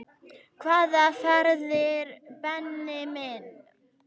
Hvaða ferðir Benni minn?